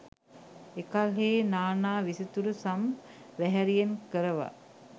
එකල්හී නා නා විසිතුරු සම් වැහැරියෙන් කරවා